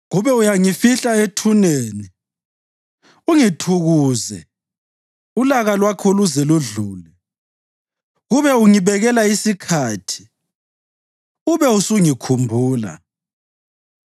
Kube uyangifihla ethuneni ungithukuze ulaka lwakho luze ludlule! Kube ungibekela isikhathi ube usungikhumbula!